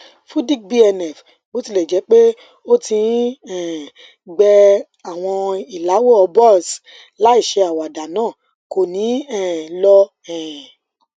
fudic bnf botilẹjẹpe o ti n um gbẹ awọn ilàwọ boils láìṣe àwáda naa ko ni um lọ um